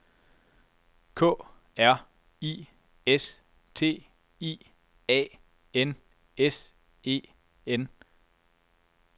K R I S T I A N S E N